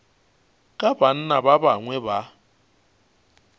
ka banna ba bangwe ba